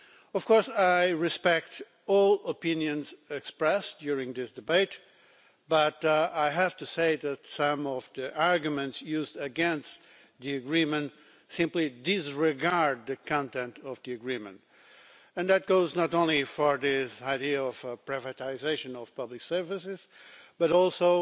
Of course, I respect all the opinions expressed during the debate but I have to say that some of the arguments used against the agreement simply disregard its content and that goes not only for this idea of privatisation of public services but also